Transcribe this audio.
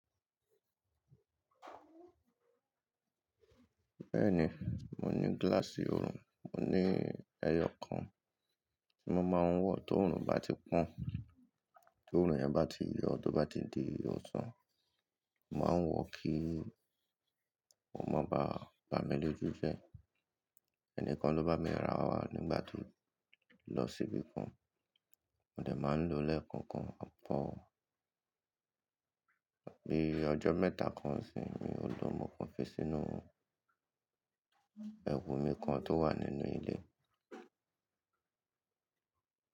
Bẹ́ẹ̀ni, mo ní gíláàsì oorun, mo ní ẹyọ kan tí mo máa ń wọ̀ tó oorun bá ti pọ́n, tó oorun yẹn bá ti yọ, tó bá ti di ọ̀sán, mo máa ń wọ̀ kí, o má baà bá mi lójú jẹ́, ẹnì kan lo bá mi rà á wá nígbà tí mo lọ sí ibi kan. Mo dẹ̀ máa ń lò ó lẹ́ẹ̀kọ̀ọ̀kan pọ̀ bí ọjọ́ mẹ́ta kan sì mi ò lò mọ̀ ọ́n fi sínú ẹwù mi kan tó wà nínú ilé.